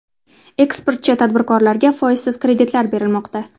Eksportchi tadbirkorlarga foizsiz kreditlar berilmoqda.